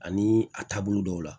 Ani a taabolo dɔw la